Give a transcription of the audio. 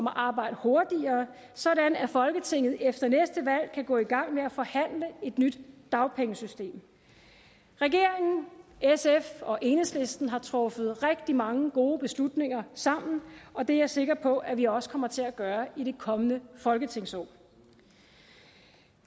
arbejde hurtigere sådan at folketinget efter næste valg kan gå i gang med at forhandle et nyt dagpengesystem regeringen sf og enhedslisten har truffet rigtig mange gode beslutninger sammen og det er jeg sikker på at vi også kommer til at gøre i det kommende folketingsår